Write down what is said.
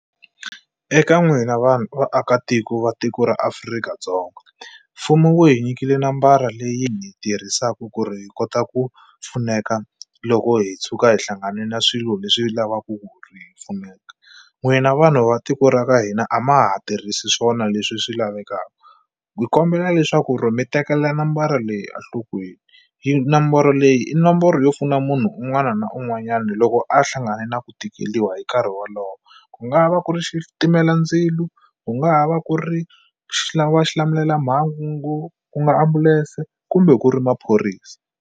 Eka n'wina vanhu vaakatiko va tiko ra Afrika-Dzonga mfumo wu hi nyikile nambara leyi hi yi tirhisaku ku ri hi kota ku pfuneka loko hi tshuka hi hlangane na swilo leswi lavaku ku ri hi pfuneka n'wina vanhu va tiko ra ka hina a ma ha tirhisi swona leswi swi lavekaka hi kombela leswaku ri mi tekela nambara leyi a nhlokweni yi nomboro leyi i nomboro yo pfuna munhu un'wana na un'wanyani loko a hlangane na ku tikeliwa hi nkarhi wolowo ku nga va ku ri xitimelandzilu ku nga ha va ku ri xilamulelamhangu ku nga ambulense kumbe ku ri maphorisa.